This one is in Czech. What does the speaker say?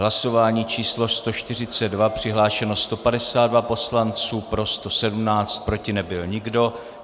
Hlasování číslo 142, přihlášeno 152 poslanců, pro 117, proti nebyl nikdo.